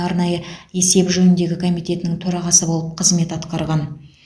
арнайы есеп жөніндегі комитетінің төрағасы болып қызмет атқарған